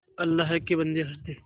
अल्लाह के बन्दे हंस दे